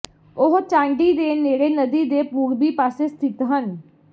ਉਹ ਚਾਂਡੀ ਦੇ ਨੇੜੇ ਨਦੀ ਦੇ ਪੂਰਬੀ ਪਾਸੇ ਸਥਿਤ ਹਨ